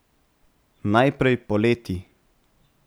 Najprej poleti.